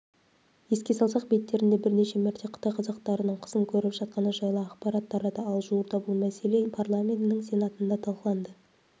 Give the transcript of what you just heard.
еске салсақ беттерінде бірнеше мәрте қытай қазақтарының қысым көріп жатқаны жайлы ақпарат тарады ал жуырда бұл мәселе парламентінің сенатында талқыланды